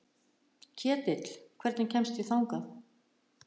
Ketill, hvernig kemst ég þangað?